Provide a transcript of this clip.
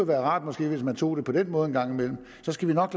være rart hvis man tog det på den måde en gang imellem så skal vi nok